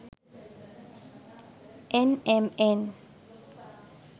nmn